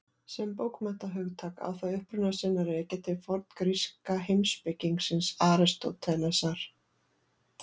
Sem bókmenntahugtak á það uppruna sinn að rekja til forngríska heimspekingsins Aristótelesar.